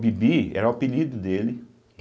Bibi era o apelido dele.